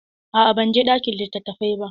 A'a ban je ɗakin litattafai ba.